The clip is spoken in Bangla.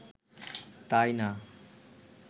তাই না